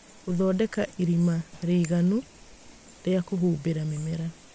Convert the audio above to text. Gũthondeka irima rĩiganu rĩa kũhumbĩra mĩmera